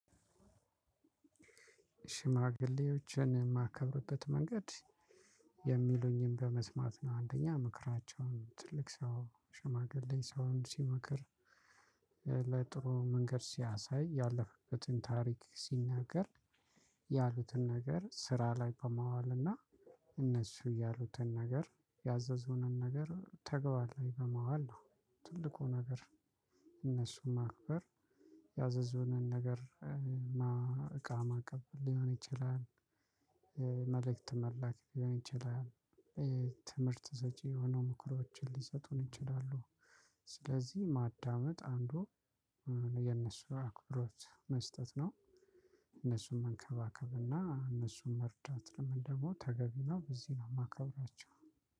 ሽማግሌዎችን የማከብርበት መንገድ የሚሉኝን በመስማት ነው። አንደኛ ምክራቸውን ትልቅ ሰው ሽማግሌ ሰውን ሲመክር። ለጥሩ መንገድ ሲያሳይ ያለፈበትን ታሪክ ሲናገር። ያሉትን ነገር ስራ ላይ በማዋል እና እነሱ ያሉትን ነገር ያዘዙንን ነገር ተግባር ላይ በማዋል ነው። ትልቁ ነገር። እነሱን ማክበር። ያዘዙንን ነገር እቃ ማቀበል ሊሆን ይችላል። መልእክት መላክ ሊሆን ይችላል። ትምህርት ሰጪ የሆኑ ምክሮችን ሊሰጡን ይችላሉ። ስለዚህ ማዳመጥ አንዱ የነሱ አክብሮት መስጠት ነው። እነሱን መንከባከብና እነሱን መርዳት ለምን ደግሞ ተገቢ ነው። በዚህ ነው የማከብራቸው።